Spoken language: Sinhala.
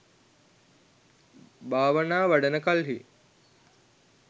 භාවනා වඩන කල්හි